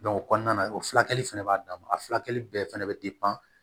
o kɔnɔna na o fulakɛli fɛnɛ b'a dama a fulakɛli bɛ fɛnɛ be